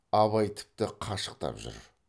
абай тіпті қашықтап жүр